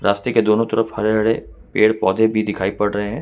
रास्ते के दोनों तरफ हरे हरे पेड़ पौधे भी दिखाई पड़ रहे हैं।